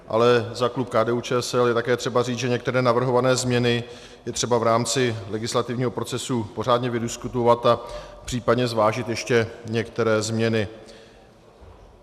Ale za klub KDU-ČSL je také třeba říct, že některé navrhované změny je třeba v rámci legislativního procesu pořádně vydiskutovat a případně zvážit ještě některé změny.